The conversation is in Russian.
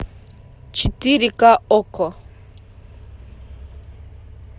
четыре ка окко